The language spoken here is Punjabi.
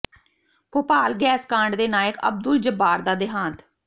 ਭੋਪਾਲ ਗੈਸ ਕਾਂਡ ਦੇ ਨਾਇਕ ਅਬਦੁਲ ਜੱਬਾਰ ਦਾ ਦੇਹਾਂਤ